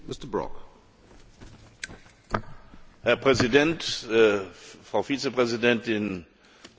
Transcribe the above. Herr Präsident, Frau Vizepräsidentin, Frau Hohe Beauftragte, meine Kolleginnen und Kollegen!